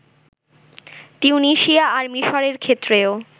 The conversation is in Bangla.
তিউনিসিয়া আর মিসরের ক্ষেত্রেও